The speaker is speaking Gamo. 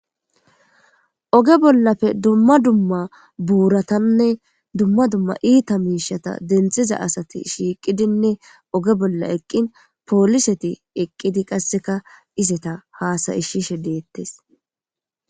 Oge bolappe dumma dumma buratanne dumma dumma itta mushshata deniththiza asata shiqidinne oge bola eqini poliseta eqidinne qasse izeta hasaisishshe deetesi